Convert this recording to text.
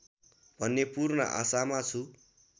भन्ने पूर्ण आशामा छु